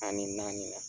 Ani naani